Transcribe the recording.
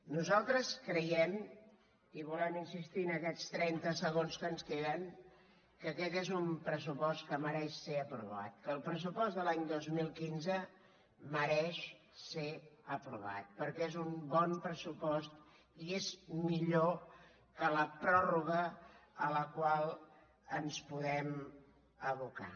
nosaltres creiem i volem insistir hi en aquests trenta segons que ens queden que aquest és un pressupost que mereix ser aprovat que el pressupost de l’any dos mil quinze mereix ser aprovat perquè és un bon pressupost i és millor que la pròrroga a la qual ens podem abocar